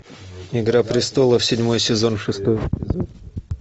игра престолов седьмой сезон шестой эпизод